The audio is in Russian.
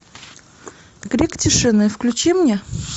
крик тишины включи мне